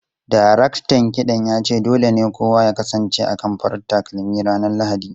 Daraktan kiɗan ya ce dole ne kowa ya kasance akan farar takalmi ranar Lahadi.